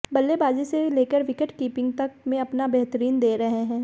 बल्लेबाजी से लेकर विकेटकीपिंग तक में अपना बेहतरीन दे रहे हैं